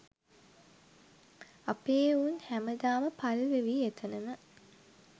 අපේ එවුන් හැම දාම පල්වෙවී එතනම